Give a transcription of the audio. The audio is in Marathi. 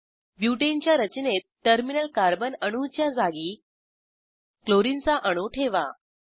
ब्युटेनच्या रचनेत टर्मिनल कार्बन अणूच्या जागी क्लोरिनचा अणू ठेवा